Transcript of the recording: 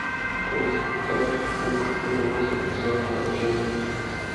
поставь угроза заражения